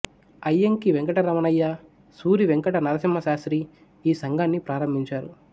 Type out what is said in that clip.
అయ్యంకి వెంకటరమణయ్య సూరి వెంకట నరసింహ శాస్త్రి ఈ సంఘాన్ని ప్రారంభించారు